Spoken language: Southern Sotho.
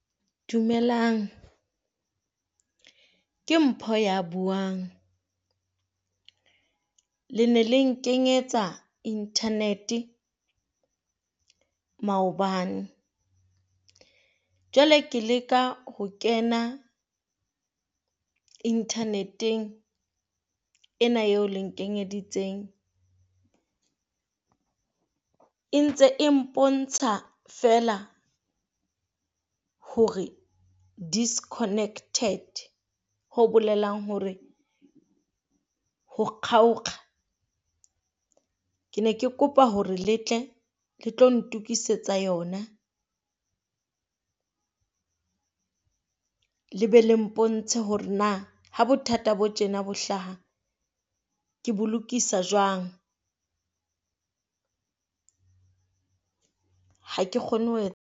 Dumelang, ke Mpho ya buang le na le nkenyetsa internet maobane, jwale ke leka ho kena internet-eng ena eo le nkenyeditseng. E ntse e mpontsha feela hore disconnected ho bolelang hore ho . Ke ne ke kopa hore le tle le tlo ntokisetsa yona le be le mpontshe hore na ha bothata bo tjena bo hlaha ke bo lokisa jwang. ha ke kgone ho .